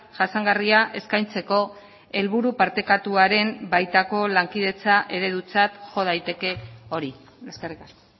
jasangarria eskaintzeko helburu partekatuaren baitako lankidetza eredutzat jo daiteke hori eskerrik asko